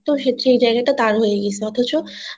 সেই জায়গা টা তার হয়ে গেছে অথচ